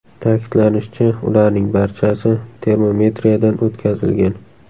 Ta’kidlanishicha, ularning barchasi termometriyadan o‘tkazilgan.